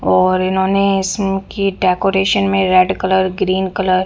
और इन्होंने इसमें की डेकोरेशन में रेड कलर ग्रीन कलर --